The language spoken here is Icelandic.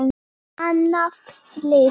Annað slys.